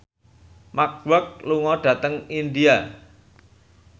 Mark Walberg lunga dhateng India